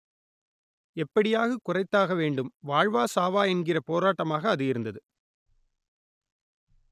எப்படியாவது குறைத்தாக வேண்டும் வாழ்வா சாவா என்கிற போராட்டமாக அது இருந்தது